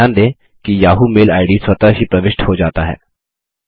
ध्यान दें कि याहू मेल आईडी स्वतः ही प्रविष्ट हो जाता है